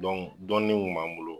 Don dɔɔnin mun kun m'an bolo